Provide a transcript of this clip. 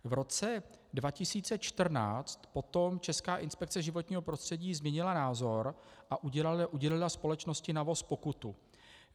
V roce 2014 potom Česká inspekce životního prostředí změnila názor a udělila společnosti NAVOS pokutu.